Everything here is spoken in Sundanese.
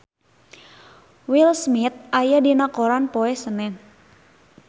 Will Smith aya dina koran poe Senen